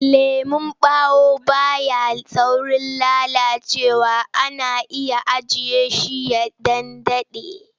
Lemon ɓawo ba ya saurin lalacewa ana iya ajiye shi ya ɗan daɗe.